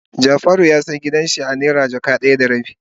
Jafaru ya siya gidan shi a naira jaka daya da rabi.